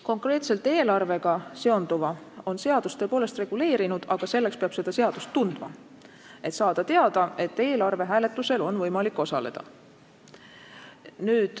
Konkreetselt eelarvega seonduva on seadus tõepoolest reguleerinud, aga seda seadust peab tundma, et saada teada, et eelarve hääletusel on võimalik osaleda.